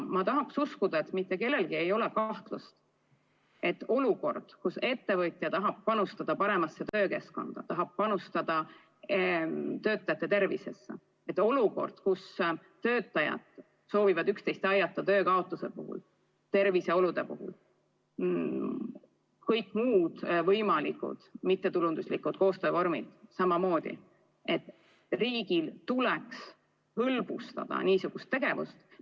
Ma usun, et mitte kellelgi ei ole kahtlust, et olukorras, kus ettevõtja tahab panustada paremasse töökeskkonda, tahab panustada töötajate tervisesse, ja olukorras, kus töötajad soovivad üksteist aidata töö kaotuse korral, tervise halvenemise korral – kõik muud võimalikud mittetulunduslikud koostöövormid samamoodi –, tuleks riigil niisugust tegevust hõlbustada.